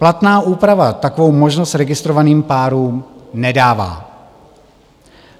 Platná úprava takovou možnost registrovaným párům nedává.